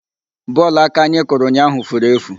Bọọlụ aka anyị kụrụ ụnyaahụ furu efu.